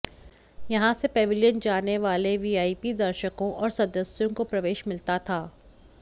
यहां से पवेलियन जाने वाले वीआईपी दर्शकों और सदस्यों को प्रवेश मिलता था